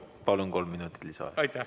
Palun, kolm minutit lisaaega!